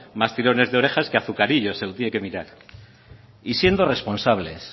más tirones de orejas que azucarillos se lo tiene que mirar y siendo responsables